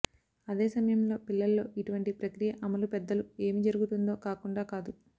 అదే సమయంలో పిల్లల్లో ఇటువంటి ప్రక్రియ అమలు పెద్దలు ఏమి జరుగుతుందో కాకుండా కాదు